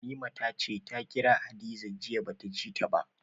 Halima ta ce ta kira Hadiza jiya ba ta ji ta ba.